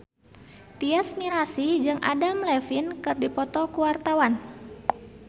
Tyas Mirasih jeung Adam Levine keur dipoto ku wartawan